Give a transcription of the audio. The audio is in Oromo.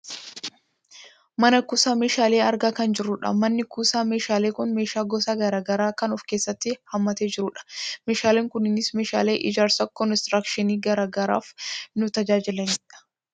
Mana kuusaa meeshaalee argaa kan jirrudha. Manni kuusaa meeshaalee kun meeshaa gosa gara garaa kan of keessaatti haammate jiru dha. Meeshaaleen kunneenis meeshaalee ijaarsa konistiraakshinii gara garaaf nu tajaajilani dha.